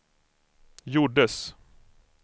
gjordes